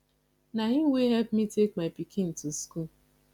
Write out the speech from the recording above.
na him wey help me take my pikin to school